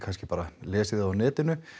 bara lesið þau á netinu